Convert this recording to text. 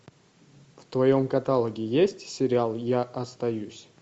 в твоем каталоге есть сериал я остаюсь